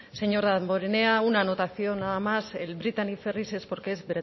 eskerrik asko señor damborenea una anotación nada más el brittany ferries es porque es